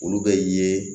Olu bɛ ye